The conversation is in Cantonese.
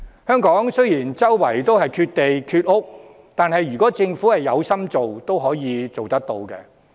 香港雖然缺地缺屋，但如果政府有心做，仍可以做得到。